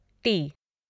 T